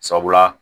Sabula